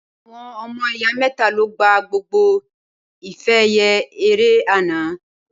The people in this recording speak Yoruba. Awòn òmò ìyá mètá ló gbá gbógbó ifè èyè éré ànã